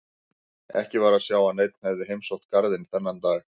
Ekki var að sjá að neinn hefði heimsótt garðinn þennan dag.